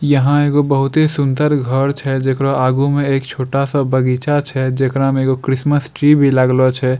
यहाँ एगो बहुते सुन्दर घर छै जेकरा आगु में एक छोटा-सा बगीचा छै जकड़ा में एगो क्रिसमस ट्री भी लागलो छै।